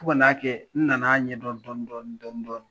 Fo ka n'a kɛ, n nana ɲɛdɔn dɔnni dɔnni dɔnni.